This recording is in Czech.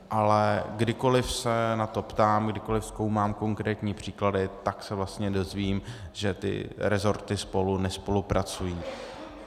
Ale kdykoli se na to ptám, kdykoli zkoumám konkrétní příklady, tak se vlastně dozvím, že ty rezorty spolu nespolupracují.